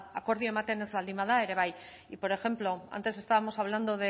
akordioa ematen ez baldin bada ere bai y por ejemplo antes estábamos hablando